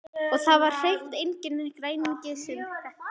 Og það var hreint enginn græningi sem hreppti.